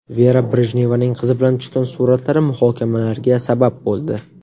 Vera Brejnevaning qizi bilan tushgan suratlari muhokamalarga sabab bo‘ldi.